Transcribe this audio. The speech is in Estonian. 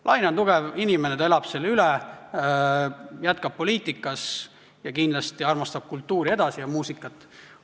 Laine on tugev inimene, ta elab selle üle, jätkab poliitikas, kindlasti armastab kultuuri ja muusikat edasi.